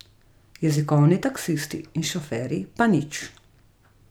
Jezikovni taksisti in šoferji pa nič.